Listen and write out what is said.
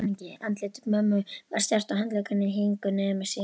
Andlit mömmu var stjarft og handleggirnir héngu niður með síðum.